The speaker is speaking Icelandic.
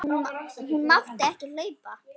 Hún mátti ekki hlaupa.